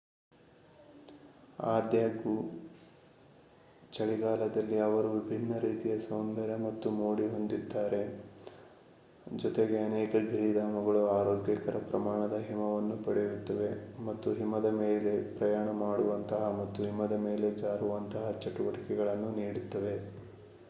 ಆದಾಗ್ಯೂ ಚಳಿಗಾಲದಲ್ಲಿ ಅವರು ವಿಭಿನ್ನ ರೀತಿಯ ಸೌಂದರ್ಯ ಮತ್ತು ಮೋಡಿ ಹೊಂದಿದ್ದಾರೆ ಜೊತೆಗೆ ಅನೇಕ ಗಿರಿಧಾಮಗಳು ಆರೋಗ್ಯಕರ ಪ್ರಮಾಣದ ಹಿಮವನ್ನು ಪಡೆಯುತ್ತವೆ ಮತ್ತು ಹಿಮದ ಮೇಲೆ ಪ್ರಯಾಣ ಮಾಡುವಂತಹ ಮತ್ತು ಹಿಮದ ಮೇಲೆ ಜಾರುವಂತಹ ಚಟುವಟಿಕೆಗಳನ್ನು ನೀಡುತ್ತವೆ